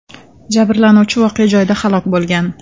Jabrlanuvchi voqea joyida halok bo‘lgan.